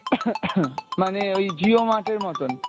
মানে ওই jio mart এর মতন?